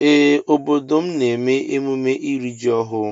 Ee obodo m na eme emume iri ji ọhụ.